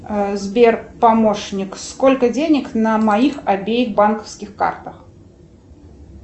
сбер помощник сколько денег на моих обеих банковских картах